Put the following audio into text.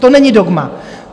To není dogma.